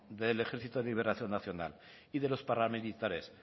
del ejército de liberación nacional y de los paramilitares